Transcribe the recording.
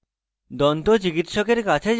দন্তচিকিৎসকের কাছে যান: